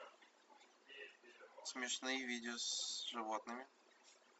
смешные видео с животными